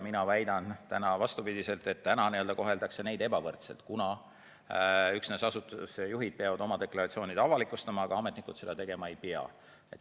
Mina väidan täna vastupidiselt, et täna koheldakse neid ebavõrdselt, kuna üksnes asutuse juhid peavad oma deklaratsioonid avalikustama, muud ametnikud seda tegema ei pea.